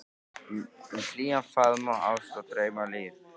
Um hlýjan faðm og ást og draum, um líf